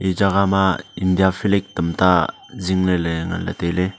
ee jaga ma india flag tamta zingley ley nganley tailey.